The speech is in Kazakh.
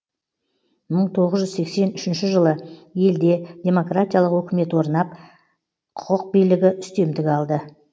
мың тоғыз жүз сексен үшінші жылы елде демократиялық өкімет орнап құқық билігі үстемдік алды